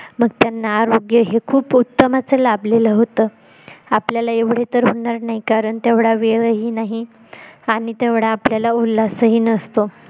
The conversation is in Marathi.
मग त्यांना आरोग्य हे खूप उत्तमच लाभलेलं होत आपल्याला एवढ तर होणार नाही कारण आपल्याला तेवढा वेळही नाही आणि तेवढा आपल्याला उल्हासही नसतो